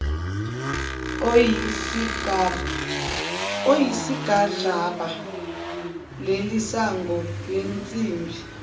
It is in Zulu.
oyisigadlaba lelisango lensimbi